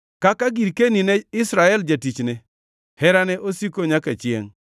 Kaka girkeni ne Israel jatichne; Herane osiko nyaka chiengʼ.